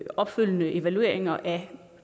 opfølgende evalueringer af